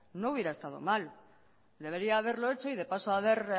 no hubiera estado mal debería haberlo hecho y de paso haber